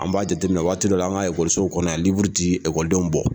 An b'a jateminɛ waati dɔ la an ka ekɔliso kɔnɔ ti ekɔlidenw bɔ